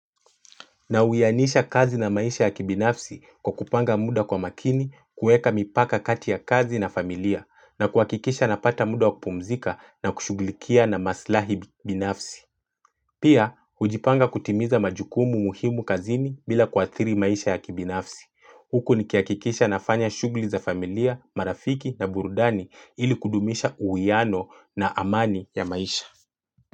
Nauyanisha kazi na maisha ya kibinafsi kwa kupanga muda kwa makini, kueka mipaka kati ya kazi na familia, na kuakikisha napata muda wa kupumzika na kushughulikia na maslahi binafsi. Pia, ujipanga kutimiza majukumu muhimu kazini bila kuathiri maisha ya kibinafsi. Huku nikiakikisha nafanya shughli za familia, marafiki na burudani ili kudumisha uiyano na amani ya maisha.